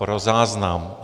Pro záznam.